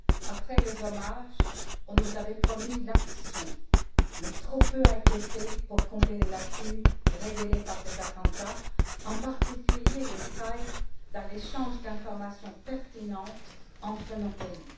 Après les hommages, on nous avait promis l'action, mais trop peu a été fait pour combler les lacunes révélées par ces attentats, en particulier les failles dans l'échange d'informations pertinentes entre nos pays.